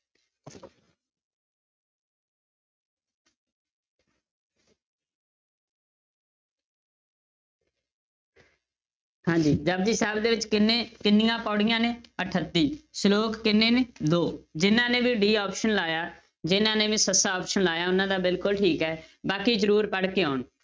ਹਾਂਜੀ ਜਪੁਜੀ ਸਾਹਿਬ ਦੇ ਵਿੱਚ ਕਿੰਨੇ ਕਿੰਨੀਆਂ ਪਉੜੀਆਂ ਨੇ ਅਠੱਤੀ, ਸਲੋਕ ਕਿੰਨੇ ਨੇ ਦੋ, ਜਿਹਨਾਂ ਨੇ ਵੀ d option ਲਾਇਆ ਜਿਹਨਾਂ ਨੇ ਵੀ ਸੱਸਾ option ਲਾਇਆ, ਉਹਨਾਂ ਦਾ ਬਿਲਕੁਲ ਠੀਕ ਹੈ ਬਾਕੀ ਜ਼ਰੂਰ ਪੜ੍ਹ ਕੇ ਆਉਣ।